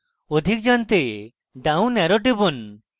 অধিক দেখতে down arrow টিপুন